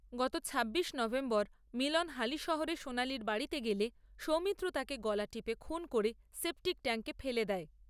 গত ছাব্বিশে নভেম্বর মিলন হালিশহরে সোনালীর বাড়িতে গেলে সৌমিত্র তাকে গলা টিপে খুন করে সেপটিক ট্যাংকে ফেলে দেয়।